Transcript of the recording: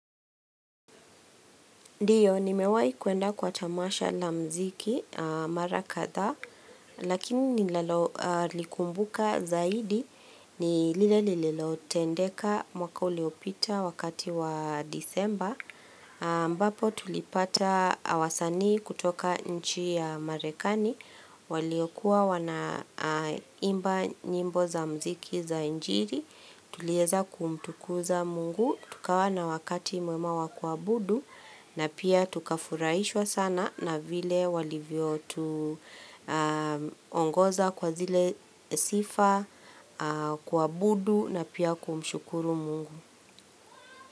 Ndiyo, nimewai kuenda kwa tamasha la mziki marakadha, lakini nilalokumbuka zaidi ni lile lililotendeka mwaka uliopita wakati wa disemba. Mbapo tulipata wasanii kutoka nchi ya marekani, waliokuwa wana imba nyimbo za mziki za injili. Tulieza kumtukuza mungu, tukawa na wakati muema wa kwa budu na pia tukafuraishwa sana na vile walivyo tuongoza kwa zile sifa kwa budu na pia kumshukuru mungu.